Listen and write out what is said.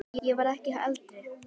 Ég verð ekki eldri.